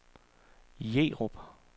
Jerup